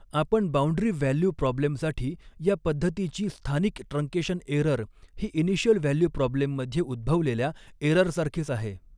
आपण boundary value प्रॉब्लेमसाठी या पद्धतीची स्थानिक ट्रंकेशन एरर ही इनिशियल व्हॅ्ल्यू प्रॉ्ब्लेम मध्ये उद्भवलेल्या एररसारखीच आहे.